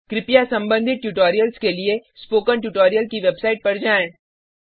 कृपया संबंधित ट्यूटोरियल्स के लिए स्पोकन ट्यूटोरियल की वेबसाइट पर जाएँ